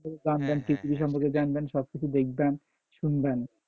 জানবেন সবকিছু দেখবেন শুনবেন,